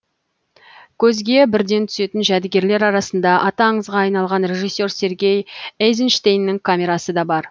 көзге бірден түсетін жәдігерлер арасында аты аңызға айналған режиссер сергей эйзенштейннің камерасы да бар